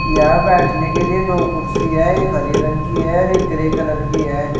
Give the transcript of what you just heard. यहां बैठने के लिए दो कुर्सी है एक हरे रंग की है और एक ग्रे कलर की है।